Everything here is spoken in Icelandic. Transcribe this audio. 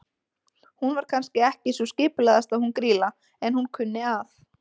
Hún var kannski ekki sú skipulagðasta hún Grýla, en hún kunni að.